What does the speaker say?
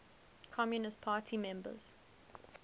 communist party members